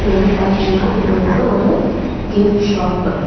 இது வந்து பாத்தீங்கனா இது வந்து ஒரு கிஃப்ட் ஷாப்பு .